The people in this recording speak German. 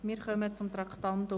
Wir kommen zum Traktandum 42: